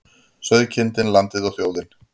Sauðkindin, landið og þjóðin.